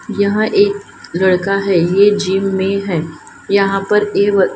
यहां एक लड़का है ये जिम में है यहां पर ये--